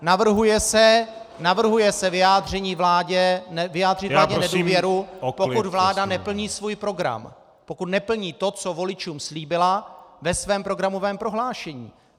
Navrhuje se vyjádřit vládě nedůvěru, pokud vláda neplní svůj program, pokud neplní to, co voličům slíbila ve svém programovém prohlášení.